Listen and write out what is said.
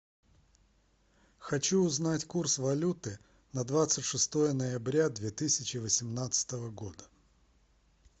хочу узнать курс валюты на двадцать шестое ноября две тысячи восемнадцатого года